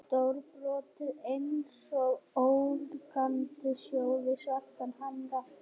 Stórbrotið einsog ólgandi sjór við svartan hamar.